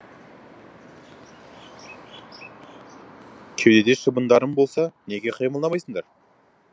кеуде шыбындарың болса неге қимылдамайсыңдар